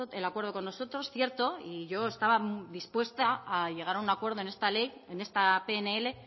el acuerdo con nosotros es cierto yo estaba dispuesta a llegar a un acuerdo en esta pnl